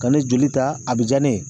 Ka ne joli ta a be ja ne ye